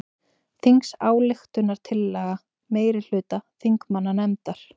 Þingsályktunartillaga meirihluta þingmannanefndar